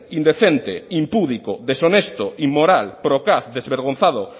indecente impúdico deshonesto inmoral procaz desvergonzado